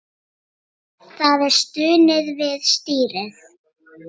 Það er stunið við stýrið.